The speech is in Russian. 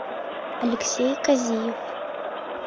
алексей казиев